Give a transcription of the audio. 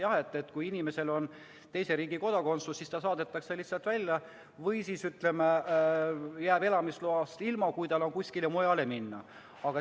Jah, kui inimesel on teise riigi kodakondsus, siis ta saadetakse lihtsalt välja või ta jääb elamisloast ilma, kui tal on kuskile mujale minna.